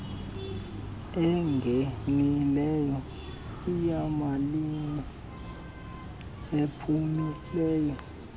engenileyo iyimalini ephumileyo